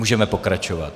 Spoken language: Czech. Můžeme pokračovat.